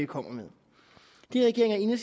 kommer med det regeringen